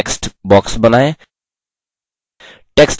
तीन bullet points के साथ एक text box बनाएँ